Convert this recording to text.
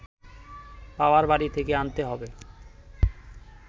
বাবার বাড়ি থেকে আনতে হবে